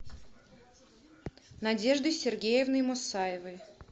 надеждой сергеевной мусаевой